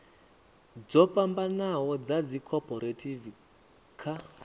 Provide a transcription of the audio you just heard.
dzo fhambanaho dza dzikhophorethivi kha